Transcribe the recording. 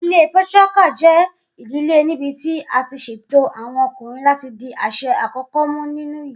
Idile Patriarchal jẹ idile nibiti a ti ṣeto awọn ọkunrin lati di aṣẹ akọkọ mu ninu ile.